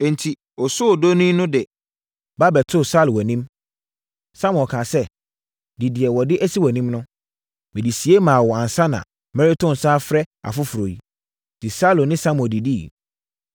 Enti, osoodoni no de ba bɛtoo Saulo anim. Samuel kaa sɛ, “Di deɛ wɔde asi wʼanim no. Mede sie maa wo ansa na mereto nsa afrɛ afoforɔ yi.” Enti Saulo ne Samuel didiiɛ.